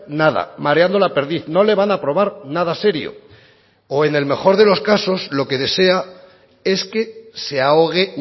nada mareando la perdiz no le van a aprobar nada serio o en el mejor de los casos lo que desea es que se ahogue